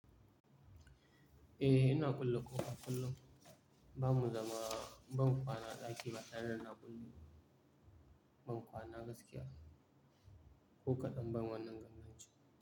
Eh, ina kulle ƙofa kullun. Bamu zama, ban kwana a ɗaki ba tareda na kulle. Ban kwana gaskiya. Ko kaɗan ban wannan ganganci.